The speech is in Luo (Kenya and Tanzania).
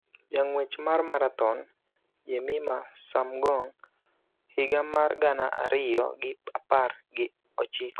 Jang'wech mar marathon Jemimah Sumgong, higa mar gana ariyo gi apar gi ochiko,